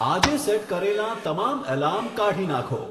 આજે સેટ કરેલાં તમામ એલાર્મ કાઢી નાંખો